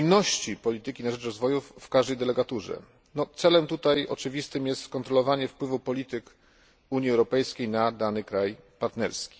spójności polityki na rzecz rozwoju w każdej delegaturze, czego oczywistym celem jest skontrolowanie wpływu polityk Unii Europejskiej na dany kraj partnerski.